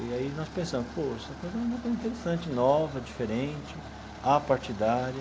E aí nós pensamos, pô, essa coisa é uma coisa interessante, nova, diferente, apartidária.